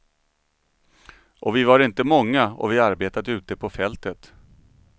Och vi var inte många, och vi arbetade ute på fältet.